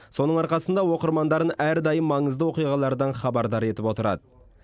соның арқасында оқырмандарын әрдайым маңызды оқиғалардан хабардар етіп отырады